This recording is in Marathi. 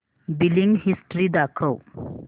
बिलिंग हिस्टरी दाखव